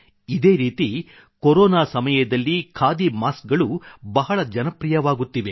ಇದೇ ರೀತಿ ಕೊರೊನಾ ಸಮಯದಲ್ಲಿ ಖಾದಿ ಮಾಸ್ಕ್ ಗಳು ಬಹಳ ಜನಪ್ರೀಯವಾಗುತ್ತಿವೆ